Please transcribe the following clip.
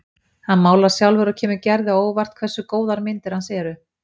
Hann málar sjálfur og kemur Gerði á óvart hversu góðar myndir hans eru.